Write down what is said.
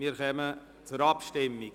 Wir kommen zur Abstimmung.